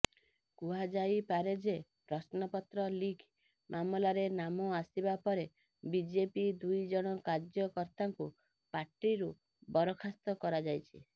କୁହାଯାଇପାରେଯେ ପ୍ରଶ୍ନପତ୍ର ଲୀକ ମାମଲାରେ ନାମ ଆସିବା ପରେ ବିଜେପି ଦୁଇଜଣ କାର୍ଯ୍ୟକର୍ତାଙ୍କୁ ପାର୍ଟିରୁ ବରଖାସ୍ତ କରାଯାଇଛି